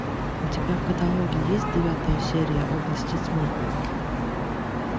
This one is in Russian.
у тебя в каталоге есть девятая серия области тьмы